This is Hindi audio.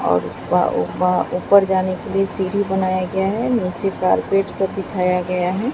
और ऊपा ऊपा ऊपर जाने के लिए सीढ़ी बनाया गया है नीचे कारपेट सब बिछाया गया है।